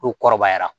N'o kɔrɔbayara